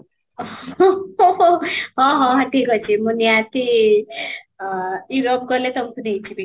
ଓଃ ହଁ, ହଁ ଠିକ ଅଛି, ମୁଁ ନିହାତି ଅ Europe ଗଲେ ତମକୁ ନେଇ ଯିବି